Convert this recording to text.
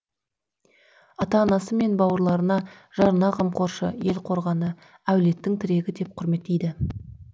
ата анасы мен бауырларына жарына қамқоршы ел қорғаны әулеттің тірегі деп құрметтейді